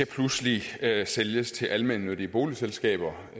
pludselig skal sælges til almennyttige boligselskaber